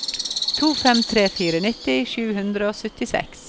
to fem tre fire nitti sju hundre og syttiseks